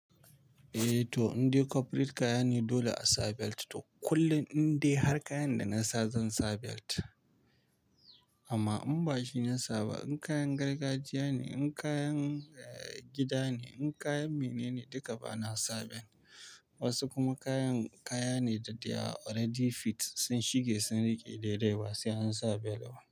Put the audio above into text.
Eh to, in dai corporate kaya ne dole a sa belt toh kullum in dai har kayan da na sa zan sa belt amma in bashi na sa ba, in kayan gargajiya ne, in kayan gida ne, in kayan mene ne duka bana sa belt Wasu kuma kayan kaya ne da they are already fit sun shige sun riƙe daidai ba sai an sa belt ba.